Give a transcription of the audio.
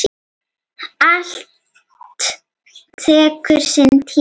Allt tekur sinn tíma.